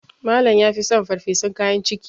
Malam ya fi son farfesun kayan ciki